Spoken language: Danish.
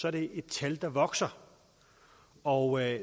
er det et tal der vokser og